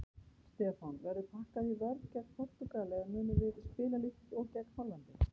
Stefán: Verður pakkað í vörn gegn Portúgal eða munum við spila líkt og gegn Hollandi?